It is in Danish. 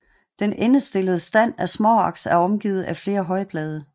Den endestillede stand af småaks er omgivet af flere højblade